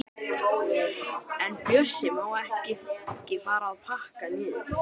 En Bjössi má fara að pakka niður.